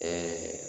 Ɛɛ